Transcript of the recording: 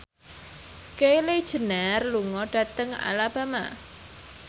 Kylie Jenner lunga dhateng Alabama